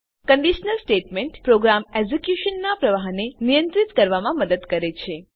conditional statement program એક્ઝેક્યુશનનાં પ્રવાહને નિયંત્રિત કરવામાં મદદ કરે છે